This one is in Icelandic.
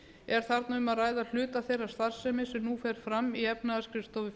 er þarna um að ræða hluta þeirrar starfsemi sem nú fer fram í efnahagsskrifstofu